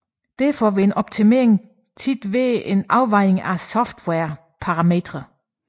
Derfor vil en optimering ofte lede til en afvejning af softwarens parametre